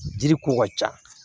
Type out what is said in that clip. Jiri ko ka ca